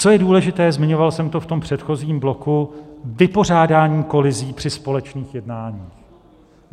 Co je důležité - zmiňoval jsem to v tom předchozím bloku - vypořádání kolizí při společných jednáních.